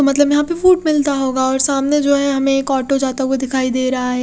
मतलब यहाँ पे फ़ूड मिलता होगा और सामने जो है हमे एक ऑटो जाता हुआ दिखाई दे रहा है।